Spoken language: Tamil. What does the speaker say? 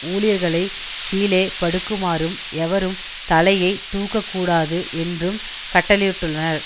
ஊழியர்களை கீழே படுக்குமாறும் எவரும் தலையை தூக்கக் கூடாது என்றும் கட்டளையிட்டுள்ளனர்